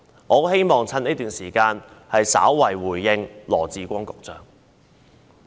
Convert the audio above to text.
我希望藉此機會向羅致光局長稍作回應。